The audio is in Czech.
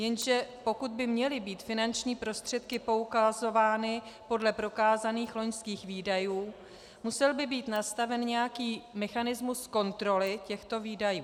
Jenže pokud by měly být finanční prostředky poukazovány podle prokázaných loňských výdajů, musel by být nastaven nějaký mechanismus kontroly těchto výdajů.